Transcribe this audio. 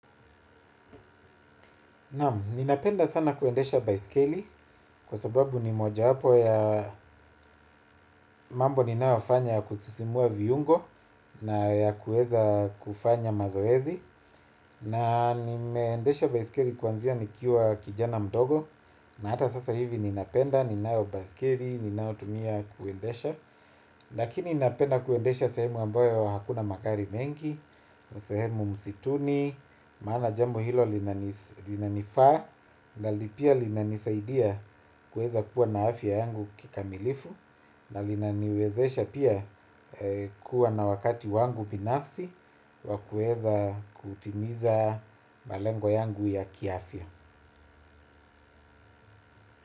Ninapenda sana kuendesha baiskeli kwa sababu ni mojawapo ya mambo ninayofanya kusisimua viungo na ya kuweza kufanya mazoezi. Na nimeendesha baiskeli kuanzia nikiwa kijana mdogo na hata sasa hivi ninapenda ninayo baiskeli ninayotumia kuendesha. Lakini napenda kuendesha sehemu ambayo hakuna magari mengi, sehemu msituni, maana jambo hilo linanifaa na pia linanisaidia kuweza kuwa na afya yangu kikamilifu na linaniwezesha pia kuwa na wakati wangu binafsi wa kuweza kutimiza malengo yangu ya kiafya.